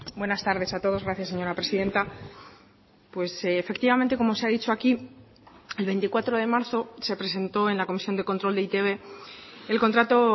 buenas tardes a todos gracias señora presidenta pues efectivamente como se ha dicho aquí el veinticuatro de marzo se presentó en la comisión de control de e i te be el contrato